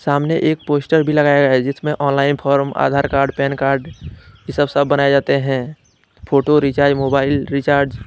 सामने एक पोस्टर भी लगाया है जिसमें online form Aadhaar card PAN card ये सब सब बनाए जाते हैं। Photo recharge mobile recharge --